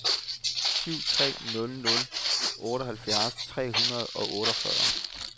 syv tre nul nul otteoghalvfjerds tre hundrede og otteogfyrre